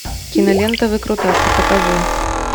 кинолента выкрутасы покажи